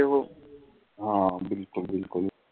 ਹਾਂ ਬਿਲਕੁਲ ਬਿਲਕੁਲ